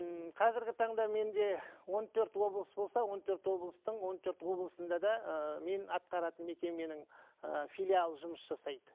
ммм қазіргі таңда менде он төрт облыс болса он төрт облыстың он төрт облысында да ыыы мен атқаратын мекеменің ы филиалы жұмыс жасайды